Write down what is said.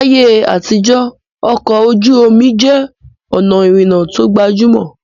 Láyé àtijọ́, ọkọ̀ ojú omi jẹ́ ọ̀nà ìrìnnà tó gbajúmọ̀